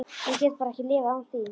Ég get bara ekki lifað án þín.